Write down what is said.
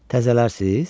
Təzələrsiniz?